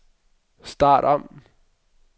start om